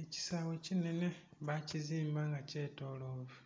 Ekisawe kinhenhe bakizimba nga kyetolovu